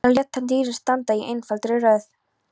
Þar lét hann dýrin standa í einfaldri röð.